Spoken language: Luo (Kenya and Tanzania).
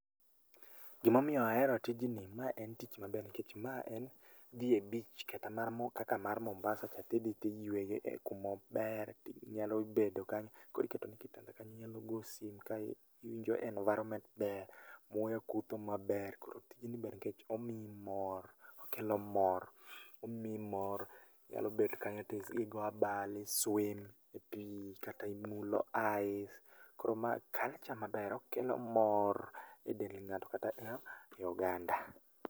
Gimomiyo ahero tijni, ma en tich maber, nikech ma en dhi e beach kata mar kaka mar Mombasa cha tidhi tiyueye e kumo ber tinyalo bedo kanyo, kor itekoni kitanda kando inyalo go sim kae iwinjo environment ber, muya kutho maber. Koro tijni ber nikech omiyi mor okelo mor omiyi mor, inyalo bet kanyo to i igo abal i swim e pii kata imulo ice koro mae maber, okelo mor e del ng'ato kata eo, e oganda